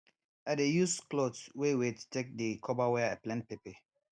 i dey use cloth wey wet take dey cover were i plant pepper